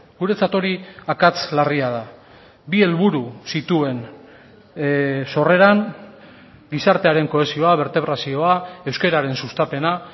guretzat hori akats larria da bi helburu zituen sorreran gizartearen kohesioa bertebrazioa euskararen sustapena